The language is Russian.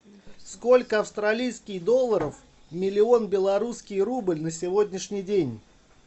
сколько австралийских долларов миллион белорусский рубль на сегодняшний день